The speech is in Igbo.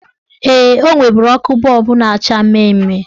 Ee, o nweburu ọkụ bọọbụ na-acha mmemme.